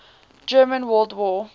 german world war